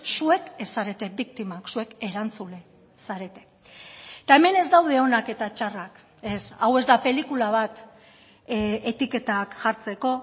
zuek ez zarete biktimak zuek erantzule zarete eta hemen ez daude onak eta txarrak ez hau ez da pelikula bat etiketak jartzeko